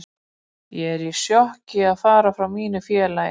Ég er í sjokki að fara frá mínu félagi.